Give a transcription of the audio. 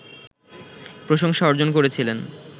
প্রশংসা অর্জন করেছিলেন